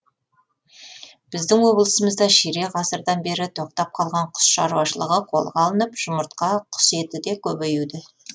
біздің облысымызда ширек ғасырдан бері тоқтап қалған құс шаруашылығы қолға алынып жұмыртқа құс еті де көбеюде